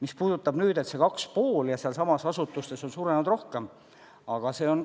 Mis puudutab seda 2,5% ja seda, et sealsamas asutustes on palk suurenenud rohkem, siis asi on